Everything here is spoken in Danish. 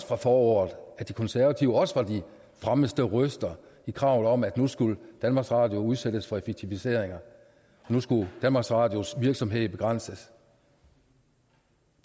fra foråret at de konservative også var de fremmeste røster i kravet om at nu skulle danmarks radio udsættes for effektiviseringer nu skulle danmarks radios virksomhed begrænses